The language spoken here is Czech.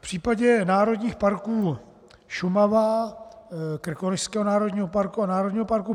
V případě Národních parků Šumava, Krkonošského národního parku a Národního parku